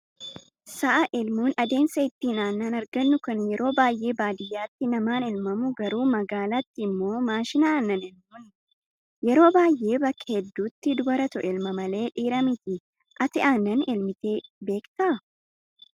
Sa'a elmuun adeemsa ittiin aannan argannu kan yeroo baay'ee baadiyyaatti namaan elmamu garuu magaalaatti immoo maashina aannan elmuuni. Yeroo baay'ee bakka hedduutti dubaratu elma malee dhiira miti. Ati aannan elmitee beektaa?